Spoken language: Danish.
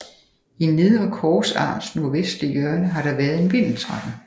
I nedre korsarms nordvestlige hjørne har der været en vindeltrappe